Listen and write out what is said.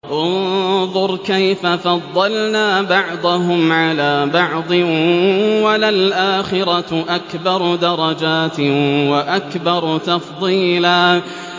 انظُرْ كَيْفَ فَضَّلْنَا بَعْضَهُمْ عَلَىٰ بَعْضٍ ۚ وَلَلْآخِرَةُ أَكْبَرُ دَرَجَاتٍ وَأَكْبَرُ تَفْضِيلًا